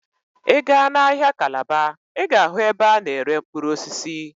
Ị gaa n'ahịa Calabar, Ị ga-ahụ ebe a na-ere mkpụrụ osisi.